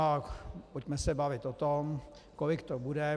A pojďme se bavit o tom, kolik to bude.